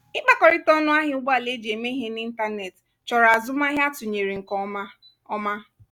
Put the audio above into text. ịkpakọrịta ọnụ ahịa ụgbọala eji eme ihe n'ịntanetị chọrọ azụmahịa atụnyere nke ọma ọma